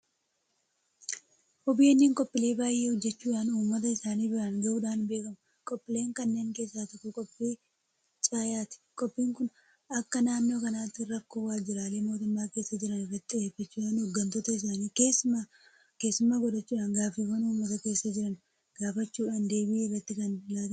OBN qophiilee baay'ee hojjechuudhaan uummata isaanii biraan gahuudhaan beekamu. Qophiilee kanneen keessaa tokko qophii Caayaati. Qophiin kun akka naannoo kanaatti rakkoo waajjiraalee mootummaa keessa jiran irratti xiyyeeffachuudhaan hooggantoota isaanii keessummaa godhachuudhaan gaaffiiwwan uummata keessa jiran gaafachuudhaan deebiin kan irratti laatamudha.